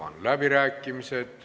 Avan läbirääkimised.